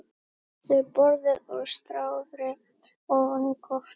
Settist við borðið og starði ofan í kortið.